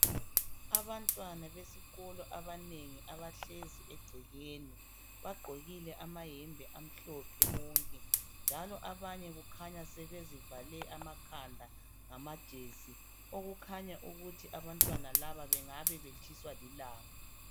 Abantwana besikolo abanengi abahlezi egcekeni bagqokile amayembe amhlophe bonke njalo abanye kukhanya sebezivale amakhanda ngamajesi okukhanya ukuthi abantwana laba bengaba betshiswa lilanga.